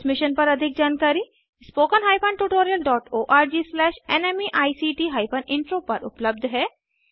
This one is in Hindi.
इस मिशन पर अधिक जानकारी spoken hyphen tutorial dot ORG slash NMEICT hyphen intro उपलब्ध है